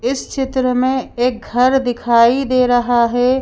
इस चित्र में एक घर दिखाई दे रहा है।